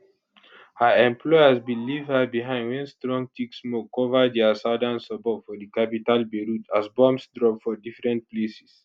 her employers bin leave her behind wen strong thick smoke cover dia southern suburb for di capital beirut as bombs drop for different places